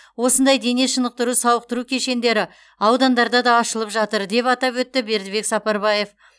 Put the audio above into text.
осындай дене шынықтыру сауықтыру кешендері аудандарда да ашылып жатыр деп атап өтті бердібек сапарбаев